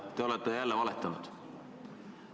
Te olete jälle valetanud.